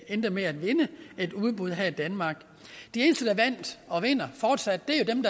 endte med at vinde et udbud her i danmark de eneste der vandt og vinder fortsat